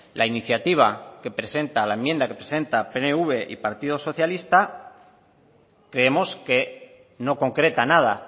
la enmienda que presenta pnv y partido socialista creemos que no concreta nada